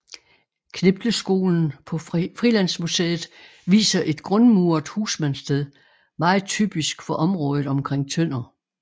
Knipleskolen på Frilandsmuseet viser et grundmuret husmandssted meget typisk for området omkring Tønder